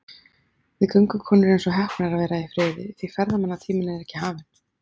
Við göngukonur erum svo heppnar að vera í friði, því ferðamannatíminn er ekki hafinn.